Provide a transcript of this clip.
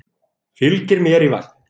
Fylgir mér í vagninn.